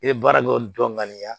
I bɛ baara dɔw dɔn ŋaniya